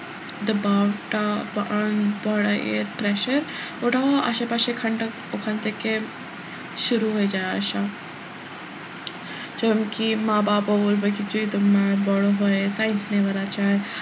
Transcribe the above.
দাবাব টা পড়া এর pressure ওটাও আশেপাশে এখানটা ওখান থেকে শুরু হয়ে যাই আসা জনকি মা বাবা বলবে কি যে তোমার বড় হয়ে science নেওয়ার আছে,